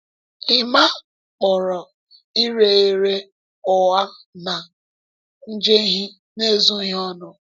Emma kpọrọ ire ere “ụgha na njehie” n’ezoghị ọnụ.